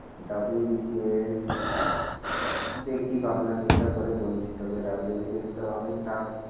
WBCS দেখি ভাবনা চিন্তা করে বলছি তোকে WBCS তো অনেক tough